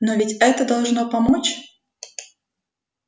но ведь это должно помочь